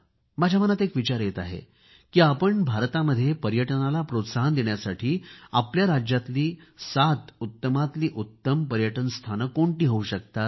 माझ्या मनात एक विचार येत आहे की आपण भारतामध्ये पर्यटनाला प्रोत्साहन देण्यासाठी आपल्या राज्यातली सात उत्तमातील उत्तम पर्यटन स्थाने कोणती होऊ शकतात